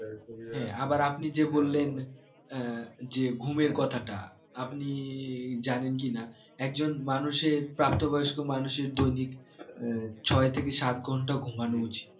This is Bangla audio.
হ্যাঁ আবার আপনি যে বললেন আহ যে ঘুমের কথাটা আপনি জানেন কি না একজন মানুষের প্রাপ্ত বয়স্ক মানুষের দৈনিক আহ ছয় থেকে সাত ঘন্টা ঘুমানো উচিত